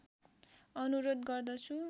अनुरोध गर्दछु